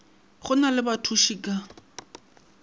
go na le bathuši ka